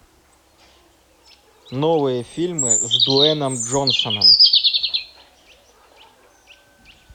новые фильмы с дуэйном джонсоном